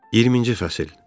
20-ci fəsil.